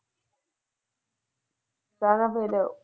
ਕਿਆ ਥਾਂ ਫੇਰ?